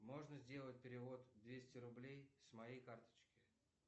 можно сделать перевод двести рублей с моей карточки